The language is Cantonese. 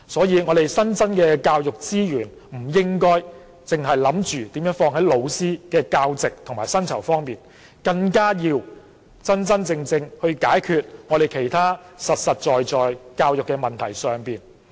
因此，新增的教育資源，不應只是投放在增加教師的教席和薪酬上，更應用於真正解決其他實在的教育問題。